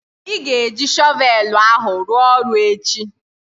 Ị ga-eji shọvelu ahụ ruo oru echi?